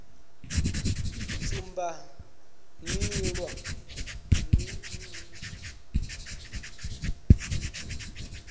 tsumbanḓila kha u sumbedza zwine